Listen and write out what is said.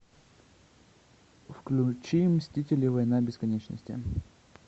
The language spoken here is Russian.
включи мстители война бесконечности